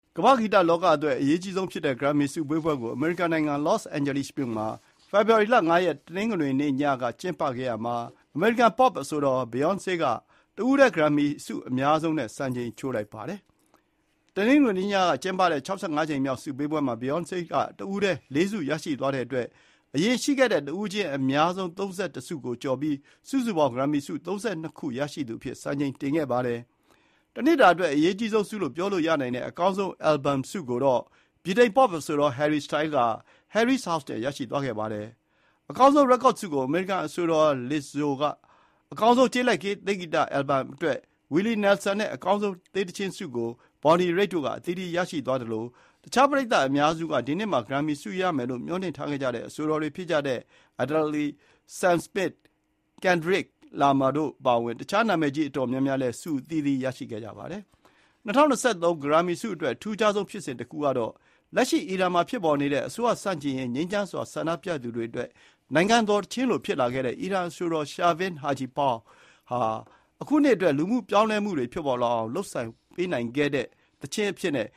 ကမ္ဘာ့ဂီတလောကအတွက် အရေးအကြီးဆုံးဖြစ်တဲ့ ဂရမ်မီ ဆုပေးပွဲကို အမေရိကန်နိုင်ငံ၊ Los Angeles မြို့မှာ ဖေဖော်ဝါရီ ၅ ရက်၊ တနင်္ဂနွေနေ့ညက ကျင်းပခဲ့တာမှာ အမေရိကန် Pop အဆိုတော် Beyoncé က တဦးထဲ ဂရမ်မီဆုအများဆုံးနဲ့ စံချိန်ချိုးလိုက်ပါတယ်။ တနင်္ဂနွေနေ့ညက ကျင်းပတဲ့ ၆၅ ကြိမ်မြောက် ဆုပေးပွဲမှာ Beyoncé က တဦးထဲ ၄ ဆုရရှိသွားတဲ့အတွက် အရင်ရှိခဲ့တဲ့ တဦးချင်း အများဆုံးဆု ၃၁ ကို ကျော်ပြီး စုစုပေါင်း ဂရမ်မီဆု ၃၂ ခု ရရှိသူအဖြစ် စံချိန်တင်ခဲ့ပါတယ်။ တနှစ်တာအတွက် အရေးအကြီးဆုံးဆုလို့ ပြောလို့ရနိုင်တဲ့ အကောင်းဆုံး Album ဆုကိုတော့ ဗြိတိန် Pop အဆိုတော် Harry Style က “Harry’s House” နဲ့ ရရှိသွားခဲ့ပါတယ်။ အကောင်းဆုံး Record ဆုကို အမေရိကန် အဆိုတော် Lizzo, အကောင်းဆုံး ကျေးလက်တေးဂီတ Album အတွက် Willie Nelson နဲ့ အကောင်းဆုံး တေးသီချင်းဆုကို Bonny Raitt တို့က အသီးသီး ရရှိသွားသလို တခြား ပရိတ်သတ်အများစုက ဒီနှစ်မှာ ဂရမ်မီဆုရလိမ့်မယ်လို့ မျှော်လင့်ထားခဲ့ကြတဲ့ အဆိုတော်တွေဖြစ်တဲ့ Adele, Sam Smith, Kendrick Lamar တို့ အပါအဝင် တခြား နာမည်ကြီး အတော်များများလည်း ဆုအသီးသီး ရရှိခဲ့ကြပါတယ်။ ၂၀၂၃ ဂရမ်မီဆုအတွက် အထူးခြားဆုံးဖြစ်စဉ်တခုကတော့လက်ရှိ အီရန်မှာဖြစ်ပေါ်နေတဲ့ အစိုးရဆန့်ကျင်ရေး ငြိမ်းချမ်းစွာ ဆန္ဒပြပွဲသူတွေအတွက် နိုင်ငံတော်သီချင်းလို ဖြစ်လာခဲ့တဲ့ အီရန်အဆိုတော် Shervin Hajipour (ရှာဗင် ဟာဂျီပူးရ်) ဟာ အခုနှစ်အတွက် လူမှု ပြောင်းလဲမှုတွေဖြစ်ပေါ်လာအောင် လုပ်ဆောင်ပေးနိုင်တဲ့သီချင်းအဖြစ်နဲ့